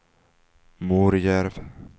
Morjärv